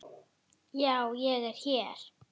Já, ég er hér.